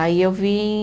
Aí eu vim